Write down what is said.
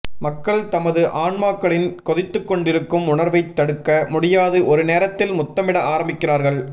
மக்கள் தமது ஆன்மாக்களில் கொதித்துக் கொண்டிருக்கும் உணர்வைத் தடுக்க முடியாது ஒரு நேரத்தில் முத்தமிட ஆரம்பிக்கிறார்கள்